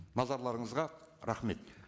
назарларыңызға рахмет